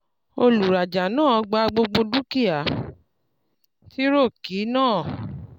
olùrajà náà gba gbogbo dúkìá - tírọ̀kì náà.